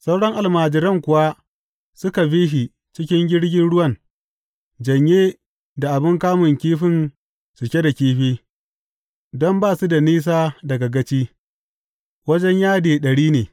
Sauran almajiran kuwa suka bi shi cikin jirgin ruwan, janye da abin kamun kifin cike da kifi, don ba su da nisa daga gaci, wajen yadi ɗari ne.